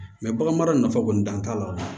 Mɛ bagan mara nafa kɔni dan t'a la o